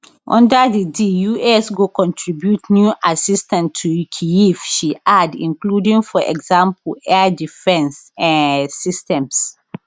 under di deal di us go contribute new assistance to kyiv she add including for example air defence um systems